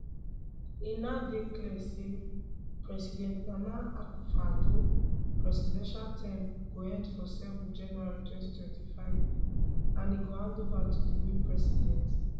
e now dey clear say president nana akufo addo presidential term go end for 7 january 2025 and e go handova to di new president